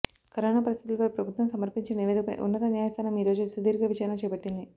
corona పరిస్థితులపై ప్రభుత్వం సమర్పించిన నివేదికపై ఉన్నత న్యాయస్థానం ఈరోజు సుదీర్ఘ విచారణ చేపట్టింది